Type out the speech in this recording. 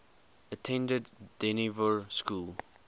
attended dynevor school